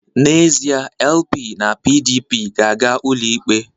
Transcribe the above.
N'ezie, LP na PDP ga-aga ụlọikpe